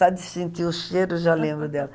Só de sentir o cheiro eu já lembro dela.